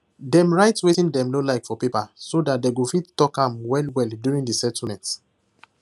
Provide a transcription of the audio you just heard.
dem write wetin dem no like for paper so that they go fit tlk am well well durin the settlement